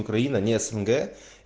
украина не снг